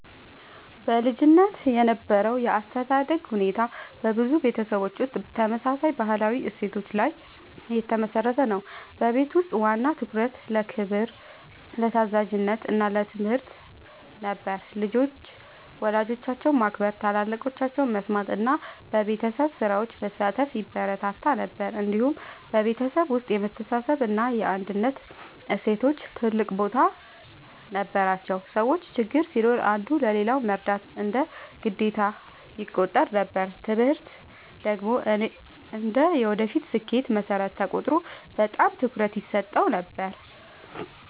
በልጅነት የነበረው የአስተዳደግ ሁኔታ በብዙ ቤተሰቦች ውስጥ ተመሳሳይ ባህላዊ እሴቶች ላይ የተመሠረተ ነበር። በቤት ውስጥ ዋና ትኩረት ለክብር፣ ለታዛዥነት እና ለትምህርት ነበር። ልጆች ወላጆቻቸውን ማክበር፣ ታላላቆቻቸውን መስማት እና በቤተሰብ ስራዎች መሳተፍ ይበረታታ ነበር። እንዲሁም በቤተሰብ ውስጥ የመተሳሰብ እና የአንድነት እሴቶች ትልቅ ቦታ ነበራቸው። ሰዎች ችግር ሲኖር አንዱ ለሌላው መርዳት እንደ ግዴታ ይቆጠር ነበር። ትምህርት ደግሞ እንደ የወደፊት ስኬት መሠረት ተቆጥሮ በጣም ትኩረት ይሰጠው ነበር።